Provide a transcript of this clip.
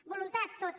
voluntat tota